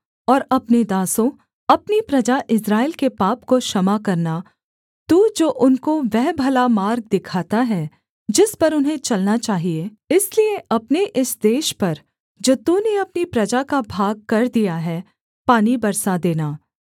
और अपने दासों अपनी प्रजा इस्राएल के पाप को क्षमा करना तू जो उनको वह भला मार्ग दिखाता है जिस पर उन्हें चलना चाहिये इसलिए अपने इस देश पर जो तूने अपनी प्रजा का भागकर दिया है पानी बरसा देना